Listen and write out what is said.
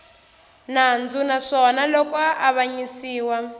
nandzu naswona loko a avanyisiwa